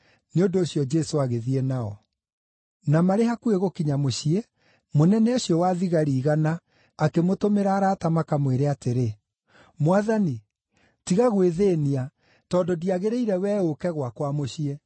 Nĩ ũndũ ũcio Jesũ agĩthiĩ nao. Na marĩ hakuhĩ gũkinya mũciĩ, mũnene ũcio wa thigari igana akĩmũtũmĩra arata makamwĩre atĩrĩ, “Mwathani, tiga gwĩthĩĩnia tondũ ndiagĩrĩire wee ũũke gwakwa mũciĩ.